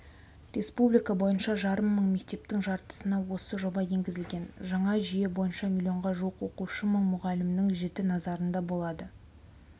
республика бойынша жарым мың мектептің жартысына осы жоба енгізілген жаңа жүйе бойынша млн-ға жуық оқушы мың мұғалімнің жіті назарында болады